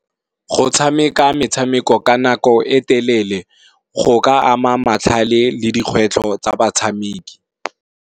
Go tshameka metshameko ka nako e telele, go ka ama matlhale le dikgwetlho tsa batshameki,